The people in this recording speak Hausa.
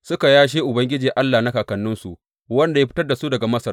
Suka yashe Ubangiji Allah na kakanninsu, wanda ya fitar da su daga Masar.